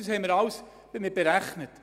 Das haben wir alles berechnet.